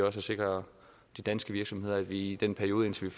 også at sikre de danske virksomheder i den periode indtil